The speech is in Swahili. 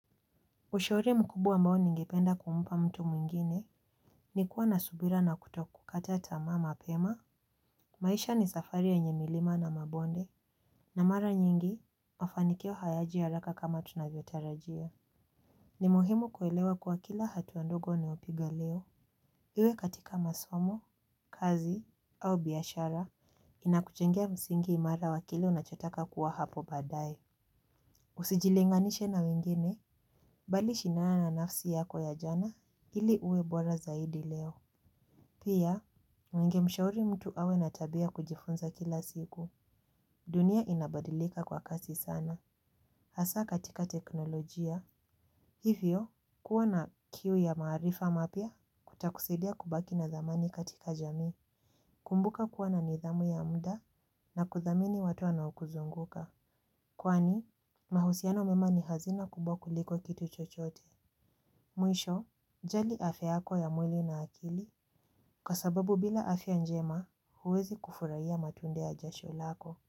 Ushauri mkubu ambao ningependa kumupa mtu mwingine. Nikuwa na subira na kuto kukata tamaa mapema. Maisha ni safari yenye milima na mabonde. Na mara nyingi mafanikio hayaji haraka kama tunavyotarajia. Ni muhimu kuelewa kuwa kila hatua ndogo ni unayopigaleo. Iwe katika masomo, kazi, au biashara. Inakujengia msingi imara wa kile unachotaka kuwa hapo badaye. Usijilinganishe na wengine bali shindana na nafsi yako ya jana ili uwe bora zaidi leo. Pia, ningemshauri mtu awe natabia kujifunza kila siku. Dunia inabadilika kwa kasi sana hasa katika teknolojia. Hivyo, kuwa na kiu ya maarifa mapya kutakusaidia kubaki na dhamani katika jami. Kumbuka kuwa na nidhamu ya muda na kuthamini watu wanaokuzunguka. Kwani, mahusiano mema ni hazina kubwa kuliko kitu chochote. Mwisho, jali afya yako ya mwili na akili kwa sababu bila afya njema huwezi kufurai ya matunde ya jasho lako.